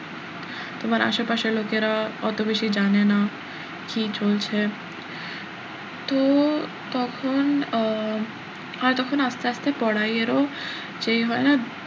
তোমার আশেপাশের লোকেরা অত বেশি জানে না কি চলছে তো তখন আহ হয় তখন আস্তে আস্তে পড়াইয়ের ও যে হয় না,